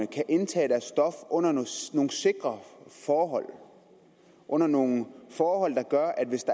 kan indtage deres stof under nogle sikre forhold og under nogle forhold der gør at hvis